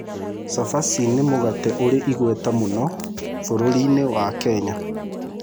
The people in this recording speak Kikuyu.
Cabaci nĩ mũgate ũrĩ igweta mũno bũrũri-inĩ wa Kenya.